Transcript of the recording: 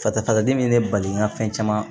Fasafasadimi ye ne bali nka fɛn caman